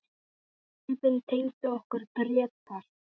Skipin tengdu okkur Grétar.